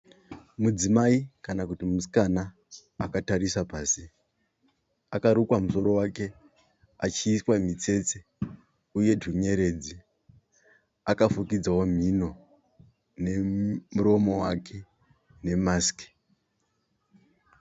Mudzimai kana kuti musikana akatarisa pasi. Akarukwa musoro wake achiiswa mitsetse uye twunyeredzi. Akafukidzawo mhino nomuromo wake nemasiki.